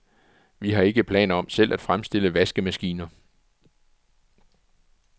Vi har ikke planer om selv at fremstille vaskemaskiner.